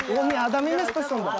ол не адам емес пе сонда